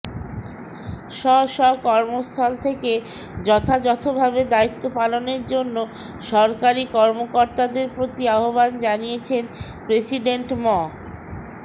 স্ব স্ব কর্মস্থল থেকে যথাযথভাবে দায়িত্ব পালনের জন্য সরকারি কর্মকর্তাদের প্রতি আহ্বান জানিয়েছেন প্রেসিডেন্ট মো